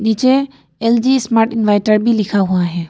नीचे LG smart inverter भी लिखा हुआ है।